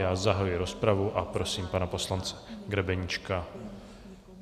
Já zahajuji rozpravu a prosím pana poslance Grebeníčka.